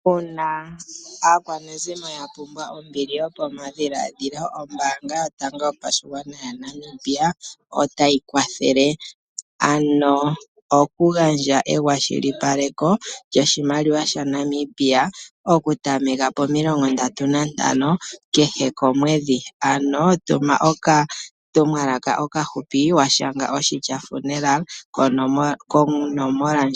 Uuna aakwanezimo ya pumbwa ombili yokomadhiladhilo, ombaanga yotango ya Namibia otayi kwathele ano okugandja ewashikipaleko lyoshimaliwa sha Namibia okutameka po 35 kehe komwedhi. Ano tuma okatumwalaka okahupi washanga oshitya funeral konomola